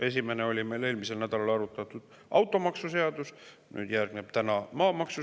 Esimene oli meil eelmisel nädalal arutatud automaksuseaduse.